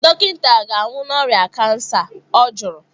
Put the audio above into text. "Dọkịta ga-anwụ n'ọrịa cancer? Ọ jụrụ"